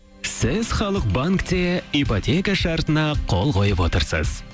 сіз халық банкте ипотека шартына қол қойып отырсыз